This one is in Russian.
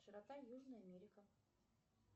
широта южная америка